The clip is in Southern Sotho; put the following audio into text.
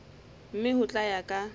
mme ho tla ya ka